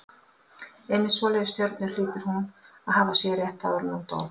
Einmitt svoleiðis stjörnur hlýtur hún að hafa séð rétt áður en hún dó.